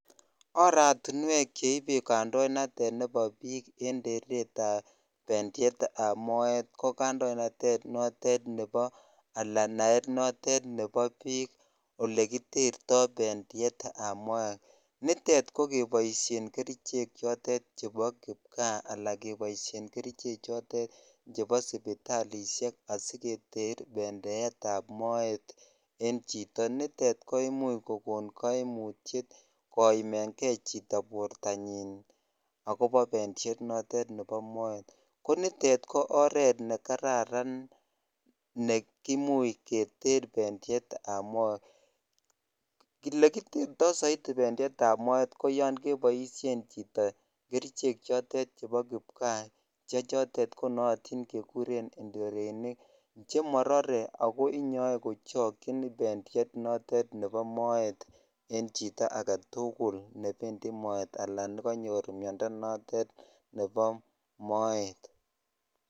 Oratinwek cheibe kandoinatet nebo biik en teretab pendieetab moet ko kandoinatet notet alaa naet notet nebo biik olekiterto pendietab moet, nitet ko keboishen kerichek chotet chebo kipkaa alaa keboishen kerichek chotet chebo sipitalishek asiketer pendietab moet en chito, nitet ko imuch kokon koimutiet koimeng'e chito bortanyin ak kobo pendiet notet nebo moet, ko nitet ko oreet nekararan nekimuch keter pendietab moet, elekiterto soiti pendietab moet ko yoon keboishen chito kerichek chotet chebo kipkaa chechotet konootin kekuren ndorenik chemorore ak ko inyoe kochokyin bendiet notet nebo moet en chito aketukul nebendi moet alaan nekonyor miondo notet nebo moet.